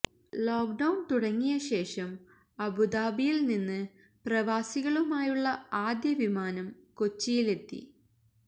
lockdown തുടങ്ങിയ ശേഷം അബുദബിയിൽ നിന്ന് പ്രവാസികളുമായുള്ള ആദ്യ വിമാനം കൊച്ചിയിലെത്തി